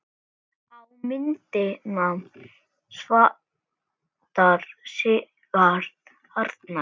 Á myndina vantar Sigurð Arnar.